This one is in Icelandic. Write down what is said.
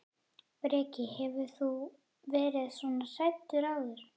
Breki: Hefur þú verið svona hræddur áður?